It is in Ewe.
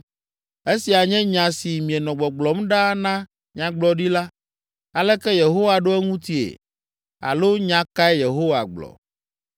Esia nye nya si mienɔ gbɔgblɔm ɖaa na nyagblɔɖila, ‘Aleke Yehowa ɖo eŋutie?’ Alo ‘Nya kae Yehowa gblɔ?’